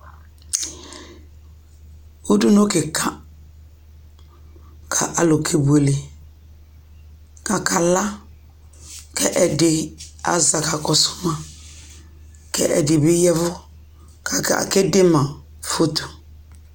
Udunu kɩka kʋ alʋ kebuele kʋ akala kʋ ɛdɩ aza kʋ akakɔsʋ ma kʋ ɛdɩ bɩ ya ɛvʋ kʋ akede ma foto